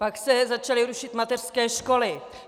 Pak se začaly rušit mateřské školy.